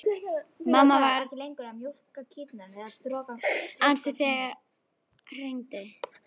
Mamma varð sem sagt ansi æst þegar ég hringdi.